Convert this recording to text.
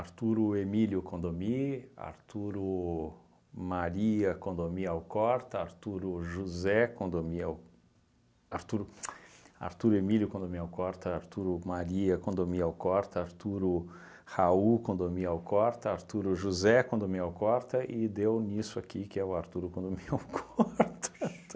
Arturo Emílio Condomí, Arturo Maria Condomí Alcorta, Arturo José Condomí Alcorta, Arturo Emílio Condomí Alcorta, Arturo Maria Condomí Alcorta, Arturo Raul Condomí Alcorta, Arturo José Condomí Alcorta e deu nisso aqui que é o Arturo Condomí Alcorta.